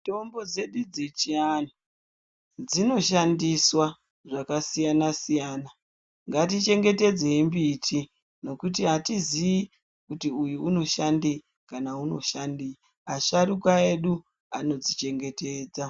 Mitombo dzedu dzechianhu dzino shandiswa zvakasiyana-siyana. Ngati chengetedzei mbiti ngekuti hatizii kuti uyu unoshandei kana uyu unoshandei. Asharukwa edu ano dzichengetedza.